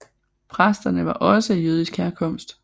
Præsterne var også af jødisk herkomst